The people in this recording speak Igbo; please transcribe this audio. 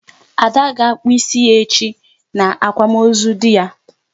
Ada will cut her hair tomorrow during her husband's burial